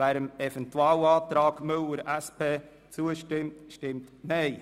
wer dem Eventualantrag 3 Müller/SP zustimmt, stimmt Nein.